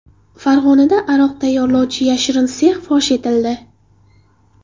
Farg‘onada aroq tayyorlovchi yashirin sex fosh etildi.